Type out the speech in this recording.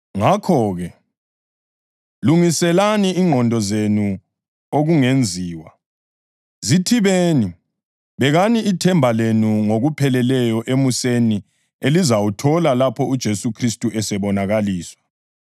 Ngakho-ke, lungiselani ingqondo zenu okungenziwa; zithibeni; bekani ithemba lenu ngokupheleleyo emuseni elizawuthola lapho uJesu Khristu esebonakaliswa.